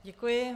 Děkuji.